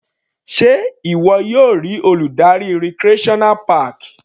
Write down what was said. Sé ìwọ yóò rí Olùdarí recreational park?